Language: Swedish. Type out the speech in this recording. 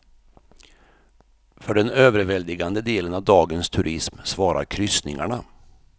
För den överväldigande delen av dagens turism svarar kryssningarna.